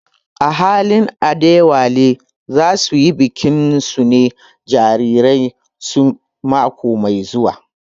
Ahalin Adewale za su yi bikin sunan jaririn su mako mai zuwa